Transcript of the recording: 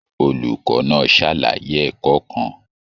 Olùkọ́ náà ṣàlàyé ẹ̀kọ́ kan.